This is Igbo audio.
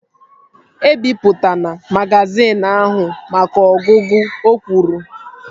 E bipụtana magazin ahụ maka ọgụgụ! O kwuru